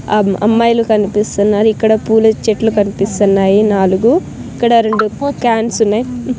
అమ్మ-- అమ్మాయిలు కనిపిస్తున్నారు ఇక్కడ పూల చెట్లు కనిపిస్తున్నాయి నాలుగు ఇక్కడ రెండు కాన్స్ ఉన్నాయి.